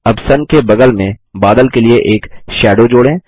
अब सुन के बगल में बादल के लिए एक shadowजोड़ें